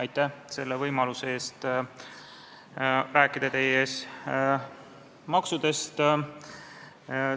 Aitäh selle võimaluse eest rääkida teie ees maksudest!